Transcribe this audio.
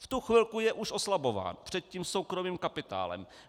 V tu chvilku už je oslabován před tím soukromým kapitálem.